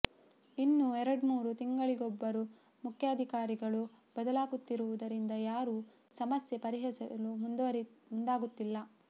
ಇನ್ನು ಎರಡ್ಮೂರು ತಿಂಗಳಿಗೊಬ್ಬರು ಮುಖ್ಯಾಧಿಕಾರಿಗಳು ಬದಲಾಗುತ್ತಿರುವುದರಿಂದ ಯಾರೂ ಸಮಸ್ಯೆ ಪರಿಹರಿಸಲು ಮುಂದಾಗುತ್ತಿಲ್ಲ